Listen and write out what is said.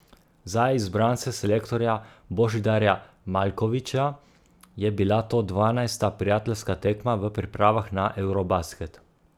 Za izbrance selektorja Božidarja Maljkovića je bila to dvanajsta prijateljska tekma v pripravah na eurobasket.